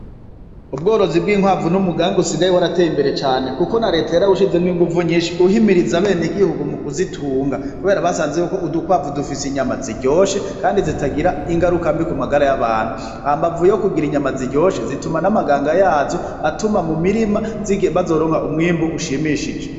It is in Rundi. Ubworozi bw'inkwavu n'umuganga usigaye warateye imbere cane, kuko na leta yarawushizemwo inguvu nyinshi uhimirize abene igihugu mu kuzitunga, kubera basanze yuko udukwavu dufise inyama ziryoshe, kandi zitagira ingarukambi ku magara y'abantu hambavu yo kugira inyama ziryoshe zituma n'amaganga yazo atuma mu mirima bazoronka umwimbu ushimishije.